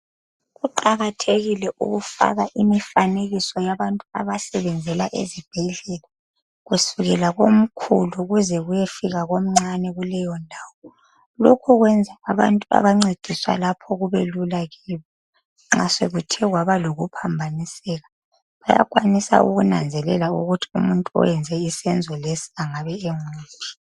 Kuqakathekile ukufaka imifanekiso yabantu abasebenzela ezibhedlela kusukela komkhulu kuze kuyefika komncane kuleyondawo. Lokhu kwenza abantu abancediswa lapho kubelula kibo nxa sokuthe kwaba lokuphambaniseka bayakwanisa ukunanzelela ukuthi umuntu owenze isenzo lesi angaba enguphi.